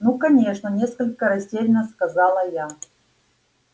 ну конечно несколько растеряно сказала я